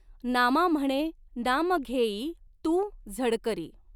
नामा म्हणॆ नाम घॆ ई तूं झडकरी.